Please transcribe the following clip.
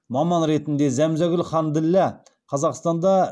маман ретінде зәмзәгүл ханділла қазақстанда